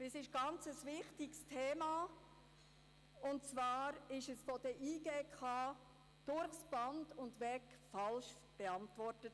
Es ist ein ganz wichtiges Thema, doch es wurde von der JGK durchs Band weg falsch beantwortet.